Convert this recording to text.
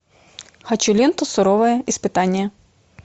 хочу ленту суровое испытание